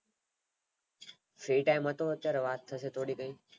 જે ટાઇમ હતોઅત્યારે વાત થાશે થોડી ખણી